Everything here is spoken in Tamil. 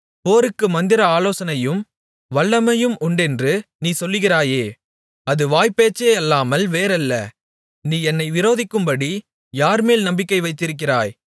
போருக்கு மந்திர ஆலோசனையும் வல்லமையும் உண்டென்று நீ சொல்லுகிறாயே அது வாய் பேச்சேயல்லாமல் வேறல்ல நீ என்னை விரோதிக்கும்படி யார்மேல் நம்பிக்கை வைத்திருக்கிறாய்